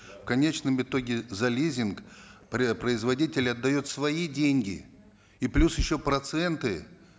в конечном итоге за лизинг производитель отдает свои деньги и плюс еще проценты